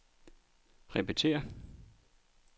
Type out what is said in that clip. repetér